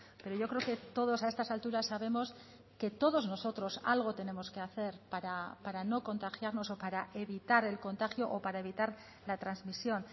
pero yo creo que todos a estas alturas sabemos que todos nosotros algo tenemos que hacer para no contagiarnos o para evitar el contagio o para evitar la transmisión